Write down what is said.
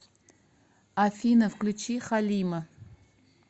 афина включи халима